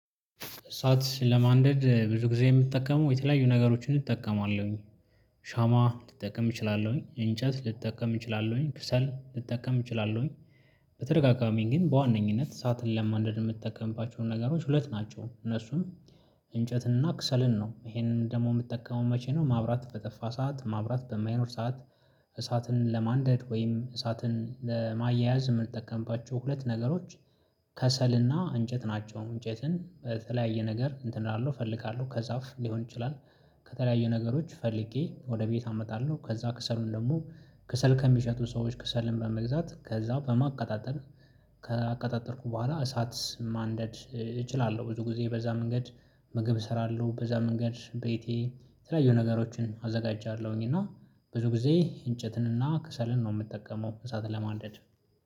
እሳት ለማንደድ ብዙ ጊዜ የምትጠቀመው:- የተለያዩ ነገሮችን እጠቀማለሁኝ። ሻማ ልጠቀም እችላለሁኝ። እንጨት ልጠቀም እችላለሁኝ። ክሰል ልጠቀም እችላለሁኝ። በተደጋጋሚ ግን በዋነኝነት እሳትን ለማንደድ የምጠቀምባቸው ነገሮች ሁለት ናቸው: እነሱም- እንጨትና ክሰልን ነው። ይሄንን ደግሞ የምጠቀመው መቼ ነው:ማብራት በጠፋ ሰዓት ማብራት በማይኖር ሰዓት እሳትን ለማንደድ ወይም እሳትን ለማያያዝ የምንጠቀምባቸው ሁለት ነገሮች- ከሰልና እንጨት ናቸው። እንጨትን በተለያየ ነገር እንትን እላለው እፈልጋለሁ። ከዛፍ ሊሆን ይችላል። ከተለያየ ነገሮች ፈልጌ ወደ ቤት አመጣለሁ። ከዛ ክሰሉን ደግሞ ክሰል ከሚሸጡ ሰዎች ክሰልን በመግዛት ከዛ በማቀጣጠል ከአቀጣጠልኩ በኋላ እሳት ማንደድ እችላለሁ። ብዙ ጊዜ በዛ መንገድ ምግብ እሰራለሁ። በዛ መንገድ ቤቴ የተለያዩ ነገሮችን አዘጋጃለሁኝ። እና- ብዙ ጊዜ እንጨትን እና ክሰልን ነው የምጠቀመው እሳትን ለማንደድ።